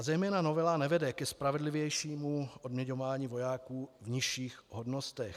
A zejména novela nevede ke spravedlivějšímu odměňování vojáků v nižších hodnostech.